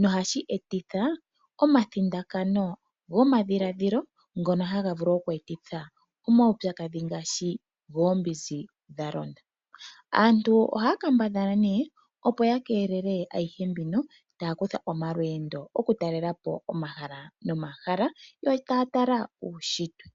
nohashi etitha omathindakano gomadhiladhilo ngono haga vulu oku ethitha omawupyakadhi ngaashi goombinzi dhalonda. Aantu ohaya kambadhala nee opo yakeelele ayihe mbino taya kutha omalweendo okutalelapo omahala nomahala yo taya tala uushitwe.